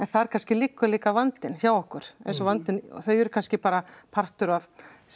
þar kannski liggur líka vandinn hjá okkur eins og vandinn þau eru kannski bara partur af